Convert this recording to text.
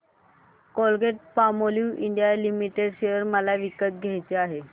Colgate Palmolive India limited share मला विकत घ्यायचे आहेत